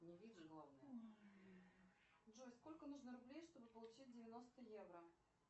джой сколько нужно рублей чтобы получить девяносто евро